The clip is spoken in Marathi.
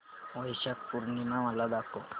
वैशाख पूर्णिमा मला दाखव